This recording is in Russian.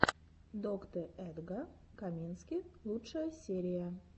доктэ эдга камински лучшая серия